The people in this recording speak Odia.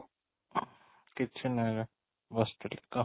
କିଛି ନାହିଁ ବେ ବସିଥିଲି ତ